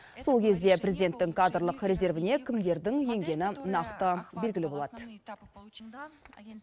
сол кезде президенттің кадрлық резервіне кімдердің енгені нақты белгілі болады